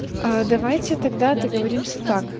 а давайте тогда договоримся так